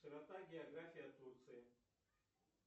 широта география турции